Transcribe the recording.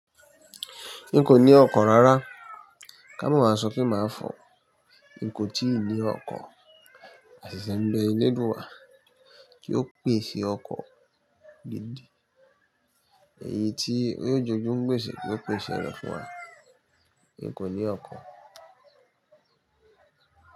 N kò ní ọkọ̀ rárá, ká mọ̀ mà sope máa fò. N kò tíì ní ọkọ̀, àṣeṣe ń bé eleduwá, kí ó pèsè ọkọ̀ gidi. Èyí tí yio je ojú n gbèsè ko pèsè rẹ̀ fún wa. N kò ní ọkọ̀.